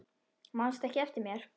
Manstu ekki eftir mér?